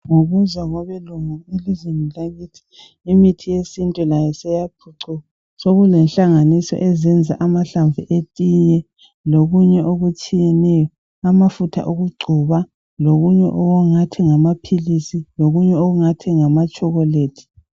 Ngokuza kwabelungu elizweni lakithi imithi yesintu seyaphucuka. Sokulenhlanganiso ezenza amahlamvu etiye lokunye okutshiyeneyo, amafutha okugcoba lokunye okungathi ngamaphilisi, lokunye okungathi ngamatshokolethi.